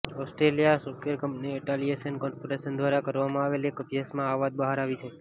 Australia software company Atlassian corporation દ્વારા કરવામાં આવેલ એક અભ્યાસમાં આ વાત બહાર આવી છે